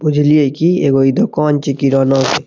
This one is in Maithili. बुझलिये कि इ एगो दुकान छी किराना के।